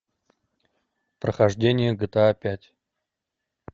прохождение гта пять